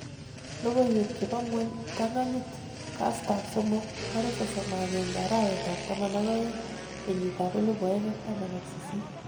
Logoiwek chebo ngwony ptang' anyit. kastab somok 31.12.2018.